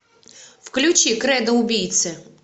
включи кредо убийцы